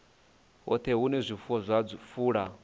hoṱhe hune zwifuwo zwa fula